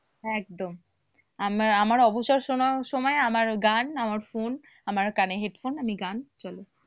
একদম। আমার আমার অবসর সময়ে আমার গান আমার phone আমার কানে headphone আমি গান চলে।